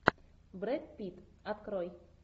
брэд питт открой